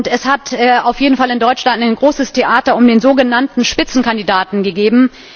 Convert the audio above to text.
Es hat auf jeden Fall in Deutschland ein großes Theater um den sogenannten Spitzenkandidaten gegeben.